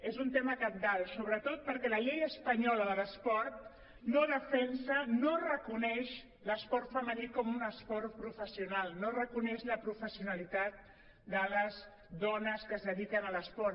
és un tema cabdal sobretot perquè la llei espanyola de l’esport no defensa no reconeix l’esport femení com un esport professional no reconeix la professionalitat de les dones que es dediquen a l’esport